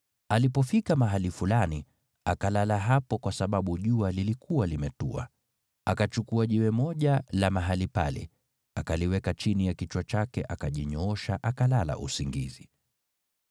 Alipofika mahali fulani, akalala hapo kwa sababu jua lilikuwa limetua. Akachukua jiwe moja la mahali pale, akaliweka chini ya kichwa chake akajinyoosha akalala usingizi.